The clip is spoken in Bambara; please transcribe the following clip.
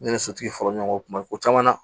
Ne ni sotigi fɔra ɲɔgɔn kɔ tuma bɛɛ ko caman na